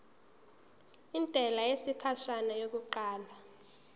intela yesikhashana yokuqala